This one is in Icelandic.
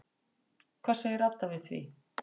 Hvað segir Adda við því?